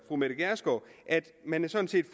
fru mette gjerskov at man sådan set